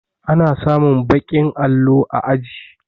Ana samun baƙin allo a aji